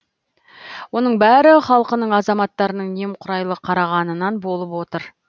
оның бәрі халқының азаматтарының немқұрайлы қарағанынан болып отыр